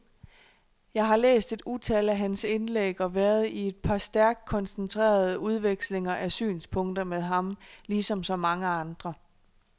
Jeg har læst et utal af hans indlæg og været i et par stærkt koncentrerede udvekslinger af synspunkter med ham, ligesom så mange andre.